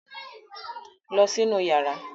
Lọ sí inú yàrá!